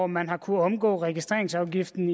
man har kunnet omgå registreringsafgiften